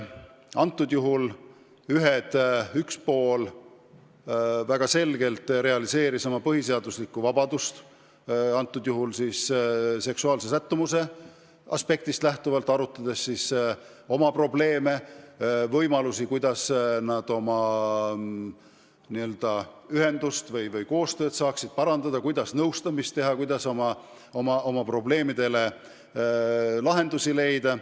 Konkreetsel juhul üks pool väga selgelt realiseeris oma põhiseaduslikku vabadust, soovides oma seksuaalsest sättumusest lähtuvalt arutada oma probleeme ja võimalusi, kuidas oma ühenduse raames koostööd parandada, kuidas nõustamist teha, kuidas oma probleemidele lahendusi leida.